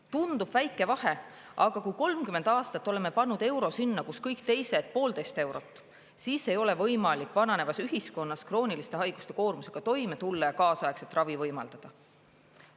Tundub väike vahe, aga kui 30 aastat oleme pannud euro sinna, kuhu kõik teised poolteist eurot, siis ei ole võimalik vananevas ühiskonnas krooniliste haiguste koormusega toime tulla ja kaasaegset ravi võimaldada.